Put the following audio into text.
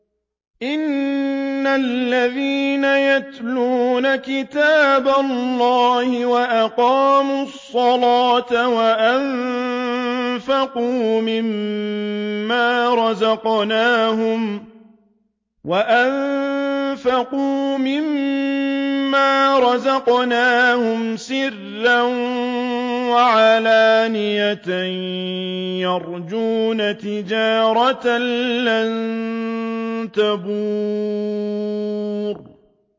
إِنَّ الَّذِينَ يَتْلُونَ كِتَابَ اللَّهِ وَأَقَامُوا الصَّلَاةَ وَأَنفَقُوا مِمَّا رَزَقْنَاهُمْ سِرًّا وَعَلَانِيَةً يَرْجُونَ تِجَارَةً لَّن تَبُورَ